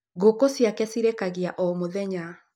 Ngũkũ ciake cirekagia o mũthenya.